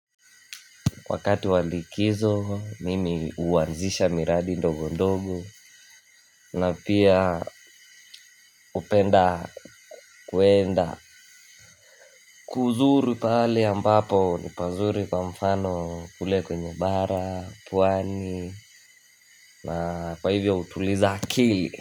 Wakati walikizo mimi huanzisha miradi ndogo ndogo na pia hupenda kwenda kuzuri pahali ambapo ni pazuri kwa mfano kule kwenye bara, pwani na kwa hivyo hutuliza akili.